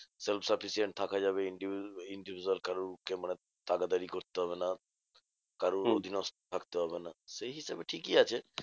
Self sufficient থাকা যাবে individual individual কারোর কে মানে তাবেদারী করতে হবে না। কারোর অধীনস্ত থাকতে হবে না, সেই হিসেবে ঠিকই আছে।